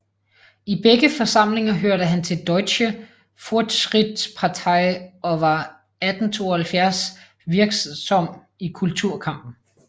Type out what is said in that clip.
I begge forsamlinger hørte han til Deutsche Fortschrittspartei og var 1872 virksom i kulturkampen